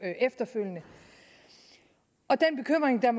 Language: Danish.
efterfølgende og den bekymring der